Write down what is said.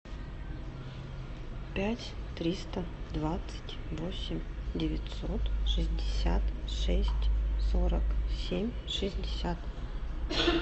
пять триста двадцать восемь девятьсот шестьдесят шесть сорок семь шестьдесят